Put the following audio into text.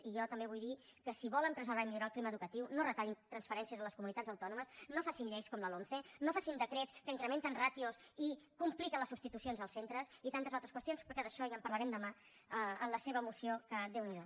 i jo també vull dir que si volen preservar i millorar el clima educatiu no retallin transferències a les comunitats autònomes no facin lleis com la lomce no facin decrets que incrementen ràtios i compliquen les substitucions als centres i tantes altres qüestions però que d’això ja en parlarem demà en la seva moció que déu n’hi do